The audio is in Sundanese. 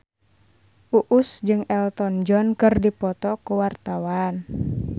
Uus jeung Elton John keur dipoto ku wartawan